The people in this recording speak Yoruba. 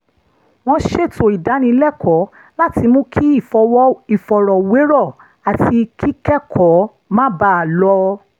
wọ́n ṣètò ìdánilẹ́kọ̀ọ́ láti mú kí ìfọ̀rọ̀wérọ̀ àti kíkẹ́kọ̀ọ́ máa bá a lọ